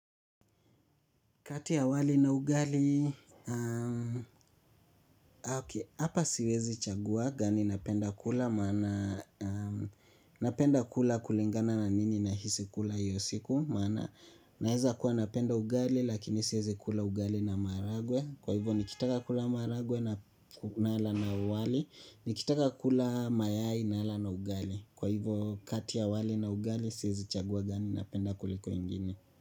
Kati ya wali na ugali, hapa siwezi chagua gani napenda kula maana napenda kula kulingana na nini nahisi kula hiyo siku. Maana naeza kuwa napenda ugali lakini siezi kula ugali na maharagwe. Kwa hivyo nikitaka kula maharagwe nala na wali, nikitaka kula mayai nala na ugali. Kwa hivyo kati ya wali na ugali siwezi chagua gani napenda kuliko ingine.